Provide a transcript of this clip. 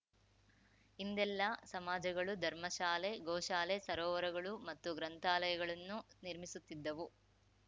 ಹಿಂದೆಲ್ಲಾ ಸಮಾಜಗಳು ಧರ್ಮ ಶಾಲೆ ಗೋ ಶಾಲೆ ಸರೋವರಗಳು ಮತ್ತು ಗ್ರಂಥಾಲಯಗಳನ್ನು ನಿರ್ಮಿಸುತ್ತಿದ್ದವು